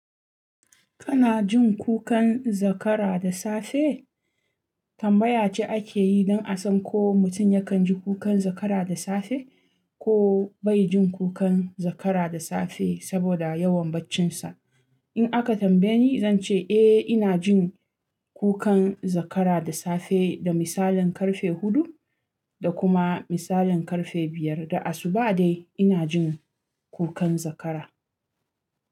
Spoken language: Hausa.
Kana jin kukan zakara da safe? Tambaya ce ake yi don a san ko mutum yakan ji kukan zakara da safe ko bai jin kukan zakara da safe saboda yawan baccinsa. In aka tambaye ni, zan ce eh ina jin kukan zakara da safe da misalin karfe huɗu da kuma misalin karfe biyar da asuba dai ina jin kukan zakara.